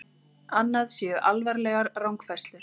Annað séu alvarlegar rangfærslur